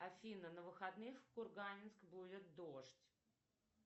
афина на выходных в курганенск будет дождь